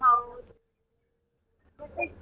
ಹೌದು ಮತ್ತೆ?